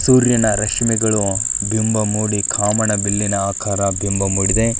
ಸೂರ್ಯನ ರಶ್ಮಿಗಳು ಬಿಂಬ ಮೂಡಿ ಕಾಮನ ಬಿಲ್ಲಿನ ಆಕಾರ ಬಿಂಬ ಮೂಡಿದೆ.